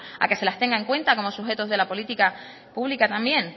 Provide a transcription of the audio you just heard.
a que se las tenga en cuanta como sujetos de la política pública también